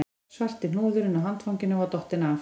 Svarti hnúðurinn á handfanginu var dottinn af